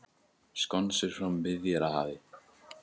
Skonsur frá Miðjarðarhafi